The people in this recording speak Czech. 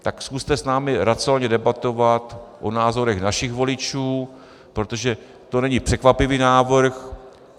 Tak zkuste s námi racionálně debatovat o názorech našich voličů, protože to není překvapivý návrh.